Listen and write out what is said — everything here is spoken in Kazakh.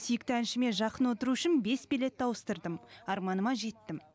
сүйікті әншіме жақын отыру үшін бес билетті ауыстырдым арманыма жеттім